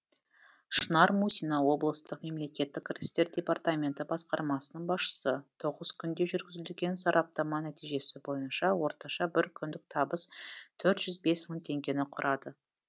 шынар мусина облыстық мемлекеттік кірістер департаменті басқармасының басшысы тоғыз күнде жүргізілген сараптама нәтижесі бойынша орташа бір күндік табыс төрт жүз бес мың теңгені құрады